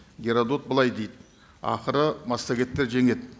геродот былай дейді ақыры массагеттер жеңеді